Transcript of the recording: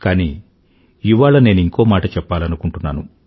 కానీ ఇవాళ నేనింకో మాట చెప్పాలనుకుంటున్నాను